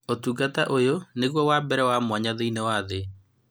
ũtungata ũyũ nĩguo wa mbere wa mwanya thĩiniĩ wa thĩ